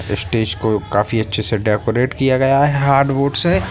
Stage को काफी अच्छे से डेकोरैट किया गया है हार्डबोर्ड से।